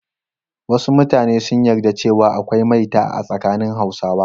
Wasu mutanen sun yarda cewa akwai maita a tsakanin Hausawa.